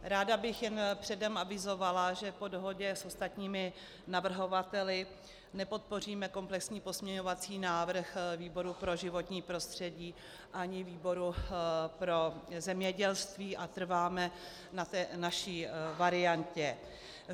Ráda bych jen předem avizovala, že po dohodě s ostatními navrhovateli nepodpoříme komplexní pozměňovací návrh výboru pro životní prostředí ani výboru pro zemědělství a trváme na té naší variantě.